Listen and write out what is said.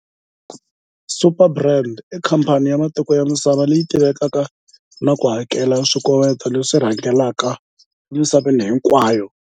Superbrands i khamphani ya matiko ya misava leyi tivekaka na ku hakela swikoweto leswi rhangelaka emisaveni hinkwayo.